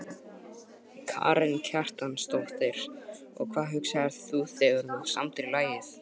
Karen Kjartansdóttir: Og hvað hugsaðir þú þegar þú samdir lagið?